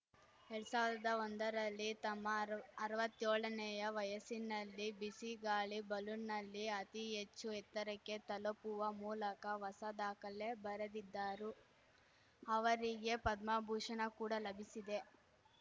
ಎರಡ್ ಸಾವಿರ್ದಾ ಒಂದರಲ್ಲಿ ತಮ್ಮ ಅರ್ವತ್ಯೋಳನೇ ವಯಸ್ಸಿನಲ್ಲಿ ಬಿಸಿ ಗಾಳಿ ಬಲೂನ್‌ನಲ್ಲಿ ಅತಿ ಹೆಚ್ಚು ಎತ್ತರಕ್ಕೆ ತಲುಪುವ ಮೂಲಕ ಹೊಸ ದಾಖಲೆ ಬರೆದಿದ್ದಾರು ಅವರಿಗೆ ಪದ್ಮಭೂಷಣ ಕೂಡ ಲಭಿಸಿದೆ